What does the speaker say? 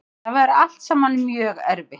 Þetta væri allt saman mjög erfitt